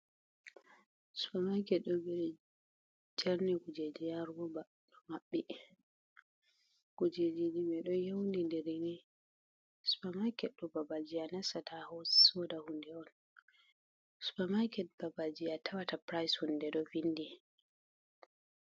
Supermarket ɗo ɓili jerni kujeeji haa rooba ɗo maɓɓi kujeeji mai ɗon yownnindiri ni. Supemaket ɗo babal jei a nasata a sooda huunde on, supamaket babal jei a tawata price hunde do windi.